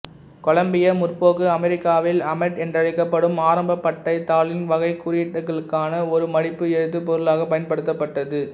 கொலம்பிய முற்போக்கு அமெரிக்காவில் அமேட் என்றழைக்கப்படும் ஆரம்பப் பட்டைத் தாளின் வகை குறியீட்டுக்களுக்கான ஒரு மடிப்பு எழுத்துப் பொருளாக பயன்படுத்தப்பட்டது